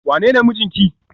wanene mijinki?